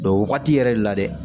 o wagati yɛrɛ de la dɛ